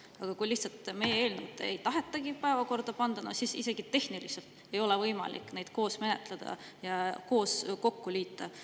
Aga kui meie eelnõu lihtsalt ei tahetagi päevakorda panna, no siis ei ole isegi tehniliselt võimalik neid eelnõusid koos menetleda ega midagi kokku liita.